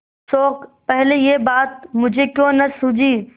शोक पहले यह बात मुझे क्यों न सूझी